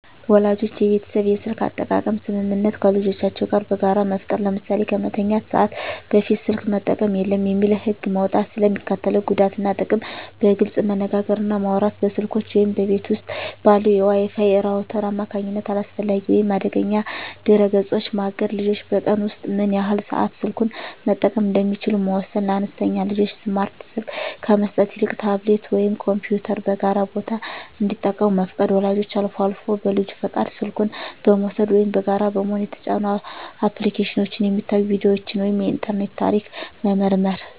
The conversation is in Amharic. ወላጆች የቤተሰብ የስልክ አጠቃቀም ስምምነት ከልጆቻቸው ጋር በጋራ መፍጠር። ለምሳሌ "ከመተኛት ሰዓት በፊት ስልክ መጠቀም የለም" የሚል ህግ መውጣት። ስለ ሚስከትለው ጉዳት እና ጥቅም በግልፅ መነጋገር እና ማውራት። በስልኮች ወይም በቤት ውስጥ ባለው የWi-Fi ራውተር አማካኝነት አላስፈላጊ ወይም አደገኛ ድረ-ገጾችን ማገድ። ልጆች በቀን ውስጥ ምን ያህል ሰዓት ስልኩን መጠቀም እንደሚችሉ መወሰን። ለአነስተኛ ልጆች ስማርት ስልክ ከመስጠት ይልቅ ታብሌት ወይም ኮምፒውተርን በጋራ ቦታ እንዲጠቀሙ መፍቀድ። ወላጆች አልፎ አልፎ በልጁ ፈቃድ ስልኩን በመውሰድ (ወይም በጋራ በመሆን) የተጫኑ አፕሊኬሽኖች፣ የሚታዩ ቪዲዮዎች ወይም የኢንተርኔት ታሪክ መመርመር።